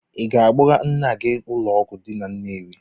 Ị ga-akpọga nna gị ụlọọgwụ dị na Nnewi.